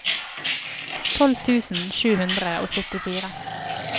tolv tusen sju hundre og syttifire